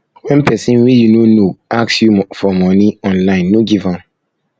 wen pesin wey you no know ask you for money online no give am